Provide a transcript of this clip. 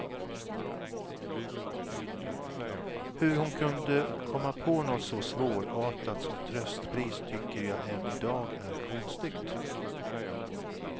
Hur hon kunde komma på något så svårartat som tröstpris, tycker jag än i dag är konstigt.